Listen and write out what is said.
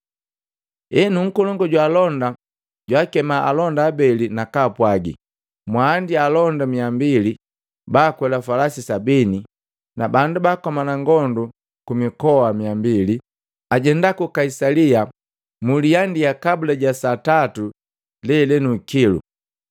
Henu, nkolongu jwaalonda jwaakeme alonda abeli na kaapwagi, “Mwaandia alonda 200, baakwela falasi 70 na bandu bakomana ngondu kumikoa 200, ajenda ku Kaisalia mliandia kabula ja saa tatu lelenu ikilu.